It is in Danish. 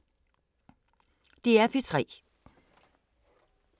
DR P3